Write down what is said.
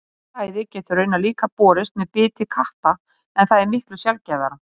Hundaæði getur raunar líka borist með biti katta en það er miklu sjaldgæfara.